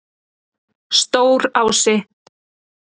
Stórási